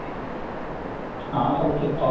ହଁ ସବୁ ଠିକଠାକ